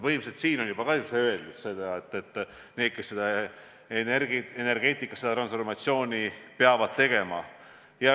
Põhimõtteliselt on ju siin ka viidatud neile, kes energeetikas seda transformatsiooni peavad tegema.